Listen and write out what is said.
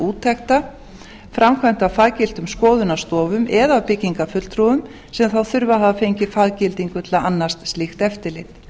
úttekta framkvæmd á faggiltum skoðunarstofum eða hjá byggingarfulltrúum sem þá þurfa að hafa fengið faggildingu til að annast slíkt eftirlit